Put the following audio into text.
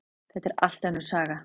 Þetta er allt önnur saga!